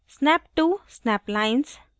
snap to snap lines